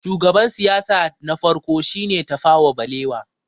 shugaban siyasa na farko shi ne Tafawa balewa